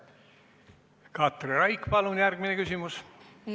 Katri Raik, palun järgmine küsimus!